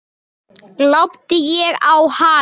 Glápti ég á hana?